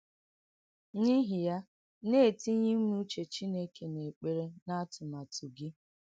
N’ìhí yà, nà-ètìnyè ìmè úchè Chínékè n’èkpèrè nà n’àtùm̀àtù gị.